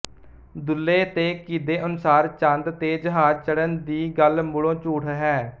ਦੁੱਲੇ ਤੇ ਘੀਦੇ ਅਨੁਸਾਰ ਚੰਦ ਤੇ ਜਹਾਜ਼ ਚੜ੍ਹਨ ਦੀ ਗੱਲ ਮੂਲੋਂ ਝੂਠ ਹੈ